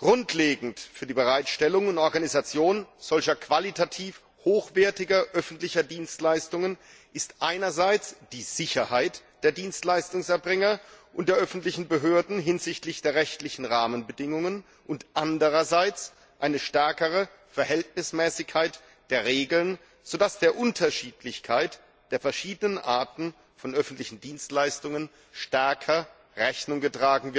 Grundlegend für die Bereitstellung und Organisation solcher qualitativ hochwertigen öffentlichen Dienstleistungen ist einerseits die Sicherheit der Dienstleistungserbringer und der öffentlichen Behörden hinsichtlich der rechtlichen Rahmenbedingungen und andererseits eine stärkere Verhältnismäßigkeit der Regeln, sodass der Unterschiedlichkeit der verschiedenen Arten von öffentlichen Dienstleistungen stärker Rechnung getragen